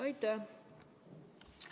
Aitäh!